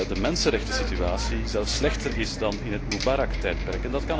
de mensenrechtensituatie zelfs slechter is dan in het Moebarak tijdperk.